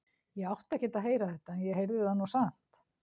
Ég átti ekkert að heyra þetta en ég heyrði það nú samt.